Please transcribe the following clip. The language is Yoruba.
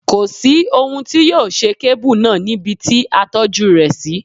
Kò sí ohun tí yóò ṣe kébù náà níbi ti a tọ́jú rẹ̀ sí.